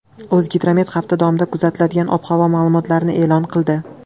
O‘zgidromet hafta davomida kuzatiladigan ob-havo ma’lumotini e’lon qildi .